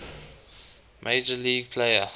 major league player